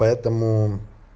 поэтому